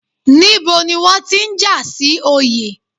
Níbo ni wọ́n ti ń jà sí Oyè?